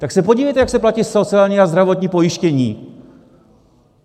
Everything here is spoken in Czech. Tak se podívejte, jak se platí sociální a zdravotní pojištění!